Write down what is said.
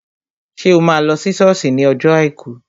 Ṣé o máa lọ sí sọ́ọ̀sì ní ọjọ́ àìkú?